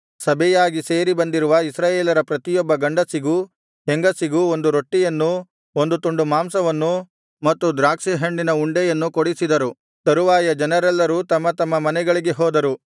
ಸಭೆಯಾಗಿ ಸೇರಿ ಬಂದಿರುವ ಇಸ್ರಾಯೇಲರ ಪ್ರತಿಯೊಬ್ಬ ಗಂಡಸಿಗೂ ಹೆಂಗಸಿಗೂ ಒಂದು ರೊಟ್ಟಿಯನ್ನೂ ಒಂದು ತುಂಡು ಮಾಂಸವನ್ನೂ ಮತ್ತು ದ್ರಾಕ್ಷಿ ಹಣ್ಣಿನ ಉಂಡೆಯನ್ನೂ ಕೊಡಿಸಿದರು ತರುವಾಯ ಜನರೆಲ್ಲರೂ ತಮ್ಮ ತಮ್ಮ ಮನೆಗಳಿಗೆ ಹೋದರು